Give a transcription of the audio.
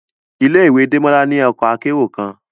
Ile-iwe Demola ni ọkọ akero kan